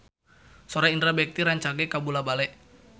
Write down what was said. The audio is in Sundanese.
Sora Indra Bekti rancage kabula-bale